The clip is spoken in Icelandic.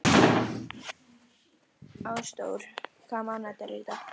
Ásdór, hvaða mánaðardagur er í dag?